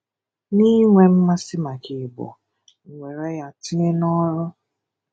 N’inwe mmasị̀ maka Igbo, m were ya tinye n’ọ̀rụ̣.